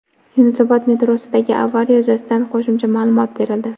Yunusobod metrosidagi avariya yuzasidan qo‘shimcha ma’lumot berildi.